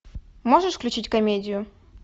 можешь включить комедию